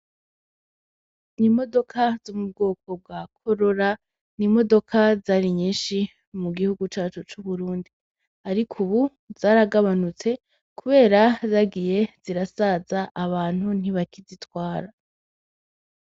Imodoka zo m’ubwoko bwa korora n'imodoka zari nyinshi mugihugu cacu c'uburundi, ariko ubu zaragabanutse kubera zagiye zirasaza abantu ntibakizitwara.